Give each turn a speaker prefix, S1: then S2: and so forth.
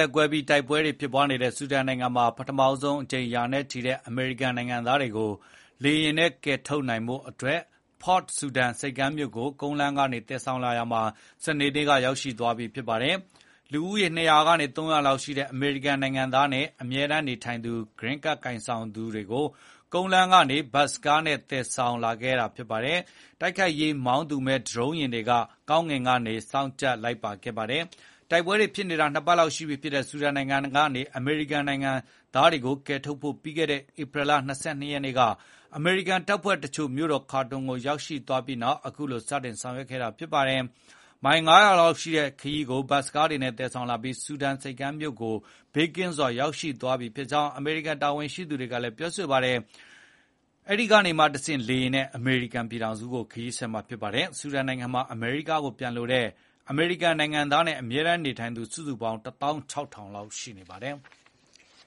S1: ပ်ကွဲပြီးတိုက်ပွဲတွေဖြစ်နေတဲ့ဆူဒန်နိုင်ငံမှာ ရာနဲ့ချီတဲ့အမေရိကန်နိုင်ငံသားတွေကို ပထမဆုံးအကြိမ် လေယာဉ်နဲ့ကယ်ထုတ်နိုင်ဖို့ Port Sudan ဆိပ်ကမ်းမြို့ဆီ ကုန်းလမ်းကနေသယ်ဆောင်လာရာမှာ စနေနေ့က ရောက်လာပါတယ်။ လူဦးရေ ၂၀၀ ကနေ ၃၀၀ လောက်ရှိတဲ့ အမေရိကန်နိုင်ငံသားနဲ့ အမြဲတမ်းနေထိုင်သူ Green Card ကိုင်ဆောင်သူတွေကို ကုန်းလမ်းကနေ ဘတ်စ်ကားတွေနဲ့သယ်ဆောင်လာခဲ့ပြီး တိုက်ခိုက်ရေးမောင်းသူမဲ့ ဒရုန်းယာဉ်တွေက ကောင်းကင်ကနေ စောင့်ကြပ်လိုက်ပါခဲ့ပါတယ်။ တိုက်ပွဲတွေဖြစ်နေတာ ၂ ပတ်လောက်ရှိပြီဖြစ်တဲ့ ဆူဒန်နိုင်ငံကနေ အမေရိကန်နိုင်ငံသားတွေကို ကယ်ထုတ်ဖို့ ပြီးခဲ့တဲ့ဧပြီလ ၂၂ ရက်နေ့က အမေရိကန်တပ်ဖွဲ့တချို့ မြို့တော်ခါတွန်ကို ရောက်သွားပြီးနောက် အခုလို စတင်ဆောင်ရွက်ခဲ့ တာပါ။ မိုင် ၅၀၀ လောက်ရှိတဲ့ခရီးကို ဘတ်စ်ကားတွေနဲ့သယ်ဆောင်လာပြီး ဆူဒန်ဆိပ်ကမ်းမြို့ကိုဘေးကင်းင်းနဲ့ ရောက်သွားပြီဖြစ်ကြောင်း အမေရိကန်တာဝန်ရှိသူတွေက ပြောပါတယ်။ အဲဒိကနေမှတဆင့် လေယာဉ်နဲ့ အမေရိကန်ပြည်ထောင်စုကို ဆက်လက်ထွက်ခွါမှာ ဖြစ်ပါတယ်။ ဆူဒန်နိုင်ငံမှာ အမေရိကားကိုပြန်လိုတဲ့ အမေရိကန်နိုင်ငံသားနဲ့ အမြဲတမ်းနေထိုင်သူ စုစုပေါင်း ၁၆,၀၀
S2: ၀ လောက်ရှိနေပါတယ်။